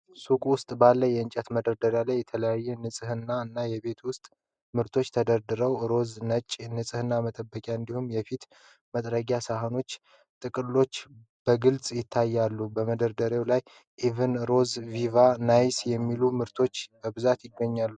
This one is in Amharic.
ሱቅ ውስጥ ባሉ የእንጨት መደርደሪያዎች ላይ የተለያዩ የንጽህና እና የቤት ውስጥ ምርቶች ተደርድረዋል። ሮዝና ነጭ የንጽህና መጠበቂያዎች እንዲሁም የፊት መጥረጊያ ሳጥኖችና ጥቅሎች በግልጽ ይታያሉ። በመደርደሪያዎቹ ላይ "Eve"፣ "Rose"፣ "Viva" እና "Nice" የሚሉ ምርቶች በብዛት ይገኛሉ።